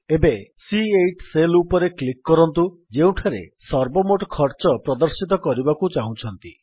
ଏବେ C eight cell ଉପରେ click କରନ୍ତୁ ଯେଉଁଠାରେ ସର୍ବମୋଟ ଖର୍ଚ୍ଚ ପ୍ରଦର୍ଶିତ କରିବାକୁ ଚାହୁଁଛନ୍ତି